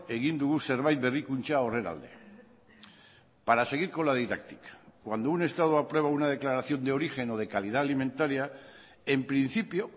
egin dugu zerbait berrikuntza horren alde para seguir con la didáctica cuando un estado aprueba una declaración de origen o de calidad alimentaria en principio